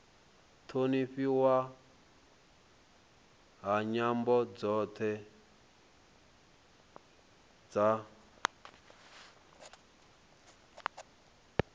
thonifhiwa ha nyambo dzothe dza